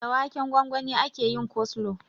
Da waken gwangwani ake yin koslo